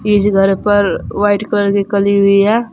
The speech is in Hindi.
इस घर पर वाइट कलर की कली हुई है।